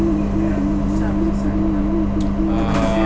English medium है nursery LKG UKG --